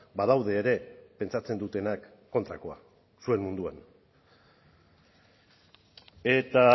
badaude ere pentsatzen dutenak kontrakoa zuen munduan eta